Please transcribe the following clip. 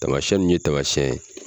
Tamasɛn nu ye tamasɛn ye